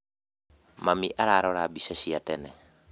Mami ararora mbica cia tene